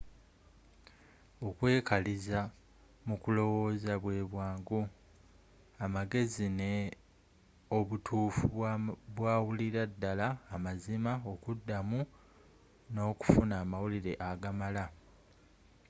okwekaliriza mu kulowoza bwe bwangu, amagezi ne obutufu bwawulira ddala amazima okuda mu n’okufuna amawulire agamala